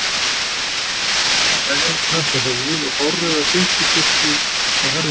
Hann var með svarbláan vefjarhött á höfði og hárauða silkiskikkju á herðunum.